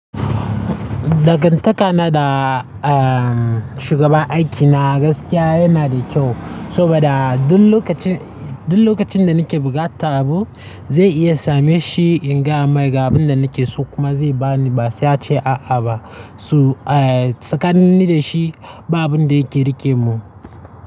Dangantakana da, ah, shugaban aikina gaskiya yana da kyau saboda duk lokacin, duk lokacin da nake buƙatar abu zai iya same shi in gaya mai ga abin da nake so kuma zai bani ba sai ya ce a’a ba. To, eh, sakannin ni da shi ba abin da yake rike mu.